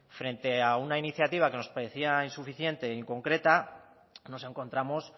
frente a una iniciativa que nos parecía insuficiente e inconcreta nos encontramos